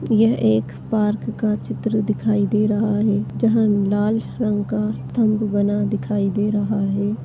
यह एक पार्क का चित्र दिखाई दे रहा है जहाँ लाल रंग का बना दिखाई दे रहा है।